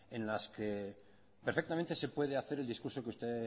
en las que perfectamente se puede hacer el discurso que usted